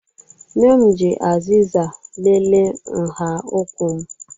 Nne m ji azịza lelee nha ụkwụ m